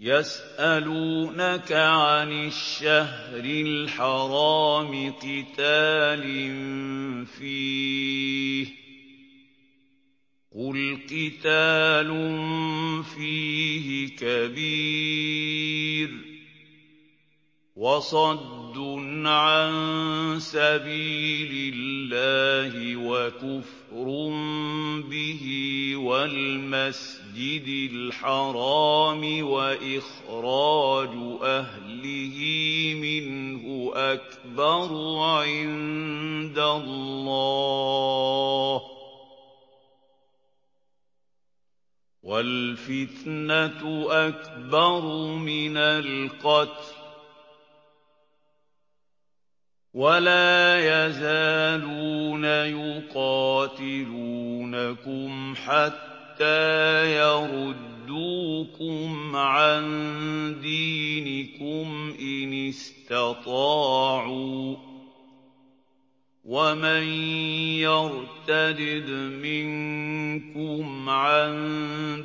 يَسْأَلُونَكَ عَنِ الشَّهْرِ الْحَرَامِ قِتَالٍ فِيهِ ۖ قُلْ قِتَالٌ فِيهِ كَبِيرٌ ۖ وَصَدٌّ عَن سَبِيلِ اللَّهِ وَكُفْرٌ بِهِ وَالْمَسْجِدِ الْحَرَامِ وَإِخْرَاجُ أَهْلِهِ مِنْهُ أَكْبَرُ عِندَ اللَّهِ ۚ وَالْفِتْنَةُ أَكْبَرُ مِنَ الْقَتْلِ ۗ وَلَا يَزَالُونَ يُقَاتِلُونَكُمْ حَتَّىٰ يَرُدُّوكُمْ عَن دِينِكُمْ إِنِ اسْتَطَاعُوا ۚ وَمَن يَرْتَدِدْ مِنكُمْ عَن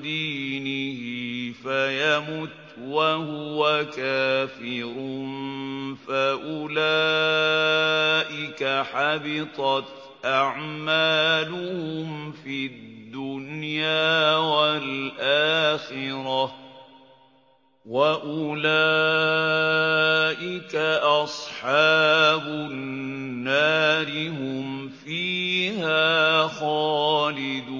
دِينِهِ فَيَمُتْ وَهُوَ كَافِرٌ فَأُولَٰئِكَ حَبِطَتْ أَعْمَالُهُمْ فِي الدُّنْيَا وَالْآخِرَةِ ۖ وَأُولَٰئِكَ أَصْحَابُ النَّارِ ۖ هُمْ فِيهَا خَالِدُونَ